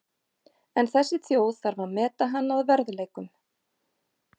En þessi þjóð þarf að meta hann að verðleikum.